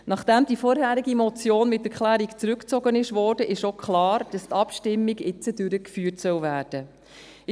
Nachdem die vorherige Motion mit Erklärung zurückgezogen wurde, ist auch klar, dass die Abstimmung jetzt durchgeführt werden soll.